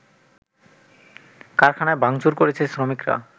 কারখানায় ভাঙচুর করেছে শ্রমিকরা